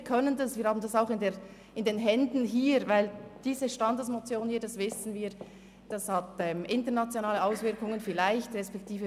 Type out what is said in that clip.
Wir können das und haben es auch in den Händen, weil diese Standesinitiative – das wissen wir – vielleicht internationale Auswirkungen hat.